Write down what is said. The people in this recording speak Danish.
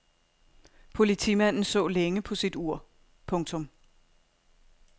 Politimanden så længe på sit ur. punktum